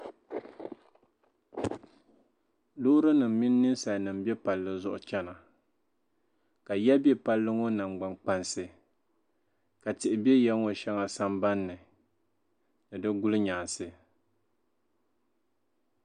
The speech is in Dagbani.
loorinima mini ninsalinima m-be palli zuɣu chana ka ya be palli ŋɔ nangbaŋkpansi tihi be ya ŋɔ shɛŋa sambani ni ni di gulinyaansi